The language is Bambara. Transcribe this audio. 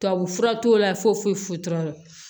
Tubabufura t'o la foyi foyi t'o la